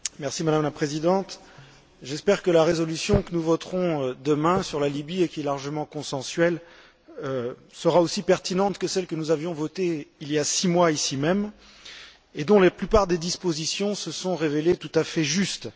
Madame la Présidente, j'espère que la résolution que nous voterons demain sur la Libye, et qui est largement consensuelle, sera aussi pertinente que celle que nous avions votée il y six mois ici même, et dont la plupart des dispositions se sont révélées tout à fait justes.